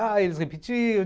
Eles repetiam.